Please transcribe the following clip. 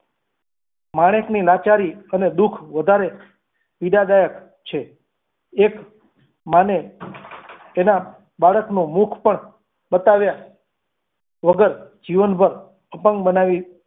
માણેક ની લાચારી અને દુઃખ વધારે પીડાદાયક છે એક માને તેના બાળકનું મુખ પણ બતાવ્યા વગર જીવનભર અપંગ બનાવી.